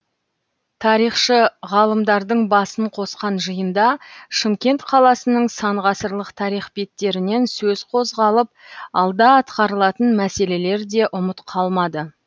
тарихшы ғалымдардың басын қосқан жиында шымкент қаласының сан ғасырлық тарих беттерінен сөз қозғалып алда атқарылатын мәселелер де ұмыт қалмады